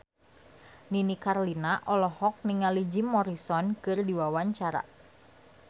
Nini Carlina olohok ningali Jim Morrison keur diwawancara